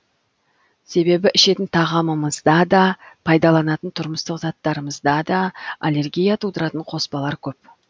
себебі ішетін тамағымызда да пайдаланатын тұрмыстық заттарымызда да аллергия тудыратын қоспалар көп